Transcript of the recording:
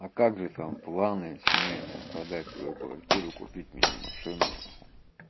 а как же там планы семейная подать свою квартиру купить мини машину